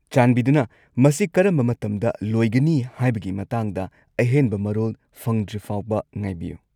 ꯆꯥꯟꯕꯤꯗꯨꯅ ꯃꯁꯤ ꯀꯔꯝꯕ ꯃꯇꯝꯗ ꯂꯣꯏꯒꯅꯤ ꯍꯥꯏꯕꯒꯤ ꯃꯇꯥꯡꯗ ꯑꯍꯦꯟꯕ ꯃꯔꯣꯜ ꯐꯪꯗ꯭ꯔꯤꯐꯥꯎꯕ ꯉꯥꯏꯕꯤꯌꯨ꯫